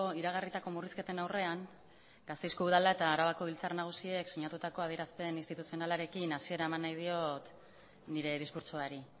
iragarritako murrizketen aurrean gasteizko udala eta arabako biltzar nagusiek sinatutako adierazpen instituzionalarekin hasiera eman nahi diot nire diskurtsoari